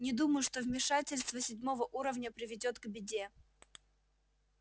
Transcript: не думаю что вмешательство седьмого уровня приведёт к беде